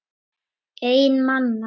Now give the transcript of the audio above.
Einn manna!